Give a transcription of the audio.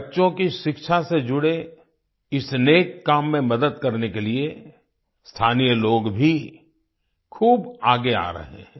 बच्चों की शिक्षा से जुड़े इस नेक काम में मदद करने के लिए स्थानीय लोग भी खूब आगे आ रहे हैं